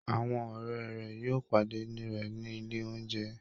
Àwọn ọ̀rẹ́ rẹ̀ yóò pàdé rẹ̀ ní ilé oúnjẹ